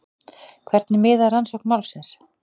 Hvernig miðar rannsókn málsins?